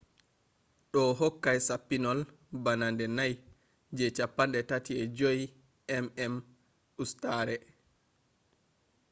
ɗo hokkay sappinol bana nde nay je 35mm ustare 3136mm2 hakunde 864